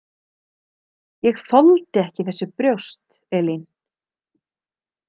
Ég þoldi ekki þessi brjóst, Elín.